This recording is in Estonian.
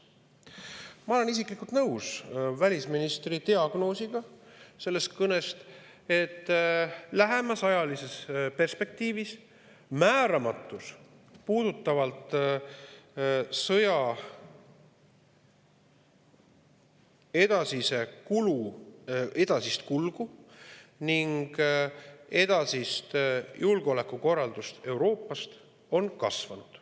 Ma olen isiklikult nõus välisministri diagnoosiga selles kõnes, et lähemas ajalises perspektiivis on määramatus selles, mis puudutab sõja edasist kulgu ja julgeolekukorraldust Euroopas, kasvanud.